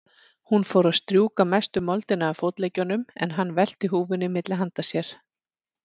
Hún fór að strjúka mestu moldina af fótleggjunum, en hann velti húfunni milli handa sér.